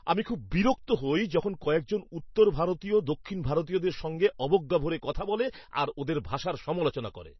আমি খুব বিরক্ত হই যখন কয়েকজন উত্তর ভারতীয় দক্ষিণ ভারতীয়দের সঙ্গে অবজ্ঞা ভরে কথা বলে আর ওঁদের ভাষার সমালোচনা করে।